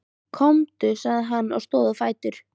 Komdu, sagði hann og stóð á fætur.